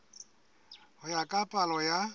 ho ya ka palo ya